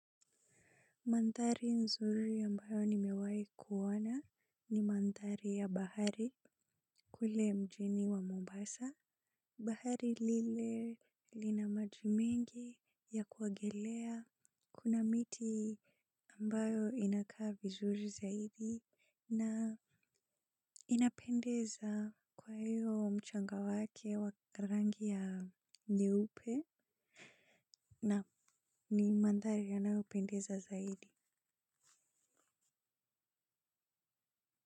Maandhari nzuri ambayo nimewahi kuona ni maandhari ya bahari kule mjini wa Mombasa. Bahari lile lina maji mengi ya kuogelea kuna miti ambayo inakaa vizuri zaidi na inapendeza kwa hiyo mchanga wake wa rangi ya nyeupe na ni maandhari yanayopendeza zaidi.